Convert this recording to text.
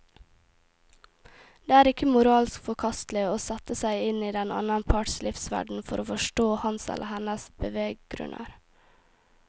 Det er ikke moralsk forkastelig å sette seg inn i den annen parts livsverden for å forstå hans eller hennes beveggrunner.